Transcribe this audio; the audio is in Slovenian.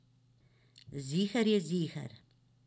Ziher je ziher.